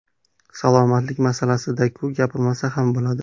Salomatlik masalasida-ku, gapirmasa ham bo‘ladi.